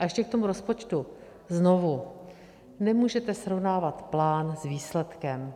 A ještě k tomu rozpočtu, znovu: nemůžete srovnávat plán s výsledkem.